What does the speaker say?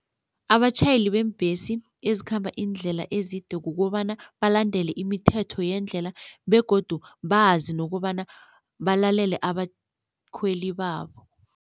Abatjhayeli beembhesi ezikhamba iindlela ezide kukobana balandele imithetho yendlela begodu bazi nokobana balalele abakhweli babo.